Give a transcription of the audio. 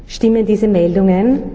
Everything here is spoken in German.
Stimmen diese Meldungen?